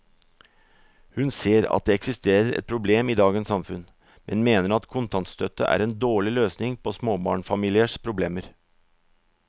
Hun ser at det eksisterer et problem i dagens samfunn, men mener at kontantstøtte er en dårlig løsning på småbarnsfamiliers problemer.